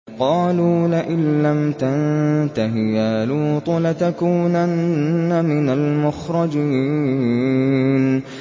قَالُوا لَئِن لَّمْ تَنتَهِ يَا لُوطُ لَتَكُونَنَّ مِنَ الْمُخْرَجِينَ